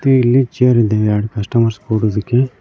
ಇಲ್ಲಿ ಚೇರ್ ಇದೆ ಎರ್ಡ್ ಕಸ್ಟಮರ್ಸ್ ಕೂರೋದಿಕ್ಕೆ.